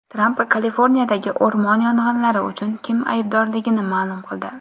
Tramp Kaliforniyadagi o‘rmon yong‘inlari uchun kim aybdorligini ma’lum qildi.